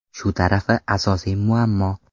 Shu tarafi asosiy muammo.